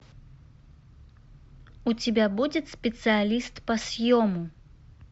у тебя будет специалист по съему